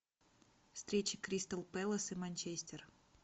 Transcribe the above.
встреча кристал пэлас и манчестер